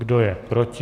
Kdo je proti?